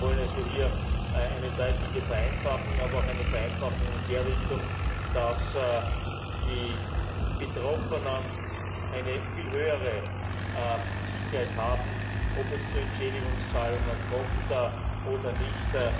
Wir wollen hier eine deutliche Vereinfachung, aber auch eine Vereinfachung in der Richtung, dass die Betroffenen eine viel höhere Sicherheit haben, ob es zu Entschädigungszahlungen kommt oder nicht.